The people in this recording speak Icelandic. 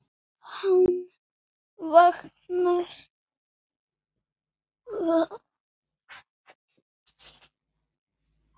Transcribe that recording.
Hann vaknar.